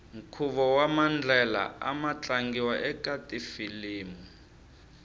nkhuvo wamandlela amu tlangiwa ekafilimu